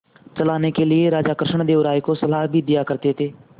चलाने के लिए राजा कृष्णदेव राय को सलाह भी दिया करते थे